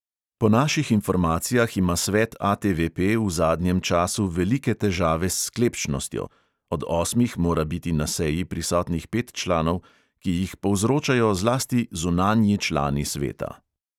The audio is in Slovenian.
Po naših informacijah ima svet ATVP v zadnjem času velike težave s sklepčnostjo (od osmih mora biti na seji prisotnih pet članov), ki jih povzročajo zlasti zunanji člani sveta.